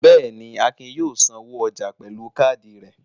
Bẹ́ẹ̀ ni, Akin yóò sanwó ọjà pẹ̀lú káádì rẹ̀.